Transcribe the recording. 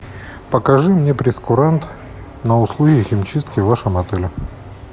покажи мне прейскурант на услуги химчистки в вашем отеле